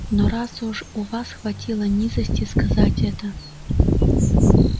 но раз уж у вас хватило низости сказать это